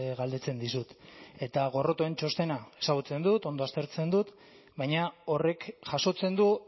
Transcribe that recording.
galdetzen dizut eta gorrotoaren txostena ezagutzen dut ondo aztertzen dut baina horrek jasotzen du